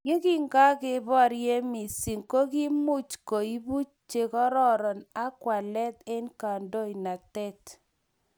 Yekingakeborye missing' kokikiimuch keibu chekororon ak walet eng' kandoinatet.